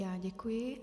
Já děkuji.